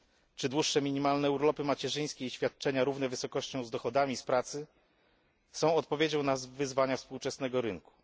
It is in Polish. Czy dłuższe minimalne urlopy macierzyńskie i świadczenia równe wysokością z dochodami z pracy są odpowiedzią na wyzwania współczesnego rynku?